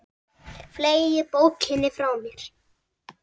Fleygi bókinni frá mér.